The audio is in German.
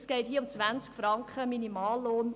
Es geht hier um 20 oder um 21 Franken Minimallohn.